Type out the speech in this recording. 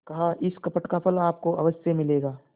कहाइस कपट का फल आपको अवश्य मिलेगा